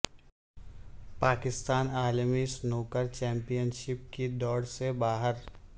پاکستان عالمی ا snooker championship کی دوڑ سے باہر